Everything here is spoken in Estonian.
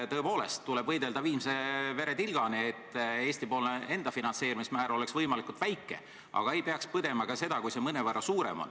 Tõepoolest, tuleb võidelda viimse veretilgani, et Eesti finantseerimismäär oleks võimalikult väike, aga ei peaks põdema ka seda, kui see on mõnevõrra suurem.